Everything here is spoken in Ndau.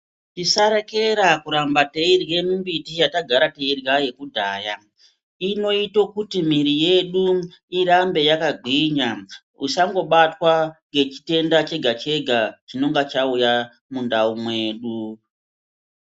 Tisarekera kuramba teirye mimbiti yatagara teirya yekudhayaa, inoite kuti miwiri yedu irambe yakagwinya isangobatwa nechitenda chega chega chinonga chauya mundau mwedu.